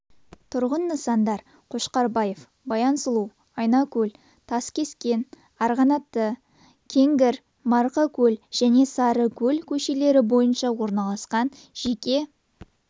тұрғын нысандар қошкарбаев баян сұлу айнакөл таскескен арғанаты кенгір марқакөл және сарыкөл көшелері бойынша орналасқан жеке